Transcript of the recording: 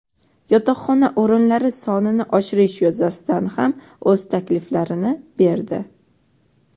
yotoqxona o‘rinlari sonini oshirish yuzasidan ham o‘z takliflarini berdi.